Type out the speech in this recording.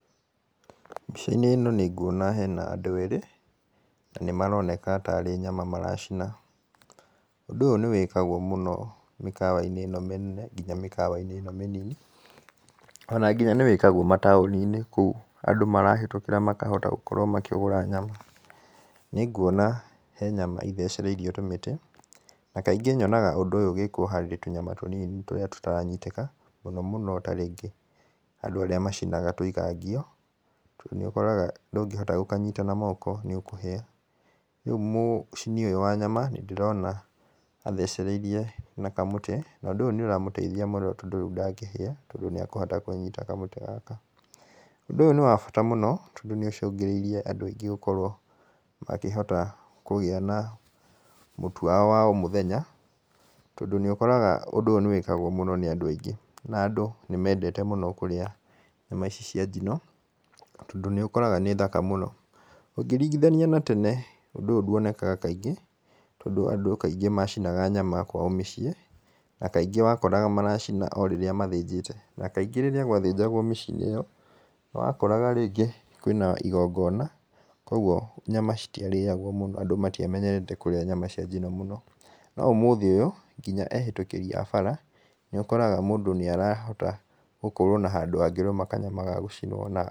Mbica-inĩ ĩno nĩ nguona hena andũ erĩ, na nĩ maroneka tarĩ nyama maracina. Ũndũ ũyũ nĩ wĩkagwo mũno mĩkawa-inĩ mĩnene nginya mĩkawa-inĩ ĩno mĩnini. Ona nginya nĩ wĩkagwo matũni-inĩ kũu andũ marahĩtũkĩra makahota gũkorwo makĩgũra nyama. Nĩ nguona he nyama ithecereirio tũmĩtĩ na kaingĩ nyonaga ũndũ ũyũ ũgĩkwo harĩ tũnyama tũnini tũrĩa tũtaranyitĩka. Mũno mũno ta rĩngĩ andũ arĩa macinaga tũinga ngiũ, nĩ ũkoraga ndũngĩhota gũkanyita na moko nĩ ũkũhĩa. Rĩu mũcini ũyũ wa nyama nĩ ndĩrona athecereirie na kamũtĩ na ũndũ ũyũ nĩ ũramũteithia mũno tondũ ndangĩhĩa tondũ nĩ akũhota kũnyita kamũtĩ gaka. Ũndũ ũyũ nĩ wa bata mũno tondũ nĩ ũcũngĩrĩirie andũ aingĩ gũkorwo makĩhota kũgĩa na mũtu wao wa o mũthenya. Tondũ nĩ ũkoraga ũndũ ũyũ nĩ wĩkagwo mũno nĩ andũ aingĩ na andũ nĩ mendete mũno kũrĩa nyama ici cia njino, tondũ nĩ ũkoraga nĩ thaka mũno. Ũngĩringithania na tene, ũndũ ũyũ ndũonekaga kaingĩ tondũ andũ kaingĩ macinaga nyama kwa mĩciĩ na kaingĩ wa koraga maracina o rĩrĩa mathĩnjĩte. Na kaingĩ rĩrĩa gwathĩnjagwo mĩciĩ-inĩ ĩyo nĩ wakoraga rĩngĩ kwĩna igongona, koguo nyama citiarĩagwo mũno, andũ matiamenyerete kũrĩa nyama cia njino mũno. No ũmũthĩ ũyũ, nginya ehĩtũkĩri a nyama nĩ ũkoraga mũndũ nĩ arahota gũkorwo na handũ angĩrũma kanyama ga gũcinwo na akarĩa.